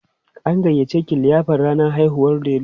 an gayyace ki liyafar rannan haihuwar Delu?